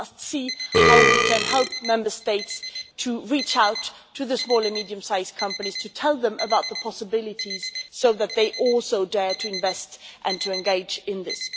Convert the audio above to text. We must see how we can help Member States to reach out to small and medium sized companies, to tell them about the possibilities so that they also dare to invest and to engage in this.